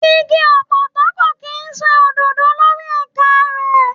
Igi ọ̀pọ̀tọ́ kò kí ń so òdòdó lórí ẹ̀ka rẹ̀.